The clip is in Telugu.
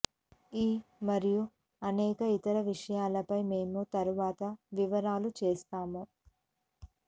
ఈ మరియు అనేక ఇతర విషయాలపై మేము తరువాత వివరాలు చేస్తాము